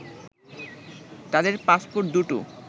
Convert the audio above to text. তাদের পাসপোর্ট দু’টো